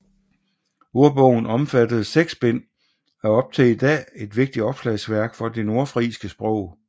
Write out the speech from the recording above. Ordbogen omfattede seks bind og er op til i dag en vigtig opslagsværk for det nordfrisiske sprog